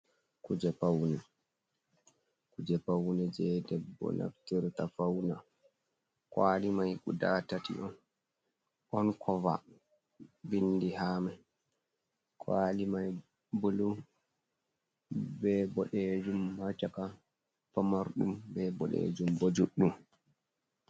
Kuje pawne, kuje pawne jey debbo naftirta fawna, kuwali may guda tati on. Ɗon koova binndi haa may. Kuwali may bulu, be boɗeejum haa caka, pamarɗum be boɗeejum, bo juɗɗum.